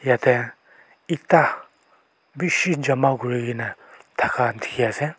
yate etta bishi jama kori kena dikhi ase.